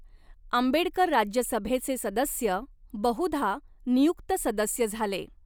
आंबेडकर राज्यसभेचे सदस्य, बहुधा नियुक्त सदस्य झाले.